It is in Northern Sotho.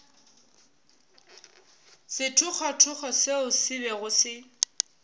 sethogothogo seo se bego se